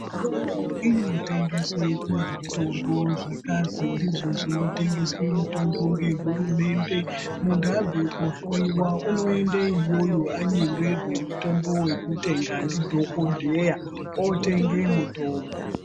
Mitombo inotengeswa muzvitoro neizvozvo inotengeswa mitombo yehurumendw muntu abva kundohloiwa unoenda iyoyo anywngerwan mutombo wekutenga ndidhokodheya otenga mitombo.